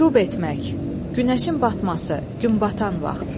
Qrüb etmək, günəşin batması, günbatan vaxt.